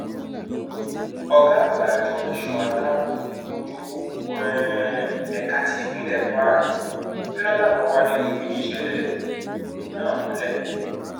ọgá àgbà àjọ ẹṣọ aláàbọ ojú pópó um ẹka ti ìpínlẹ kwara jonathan owóade ló fìdí ìṣẹlẹ um náà múlẹ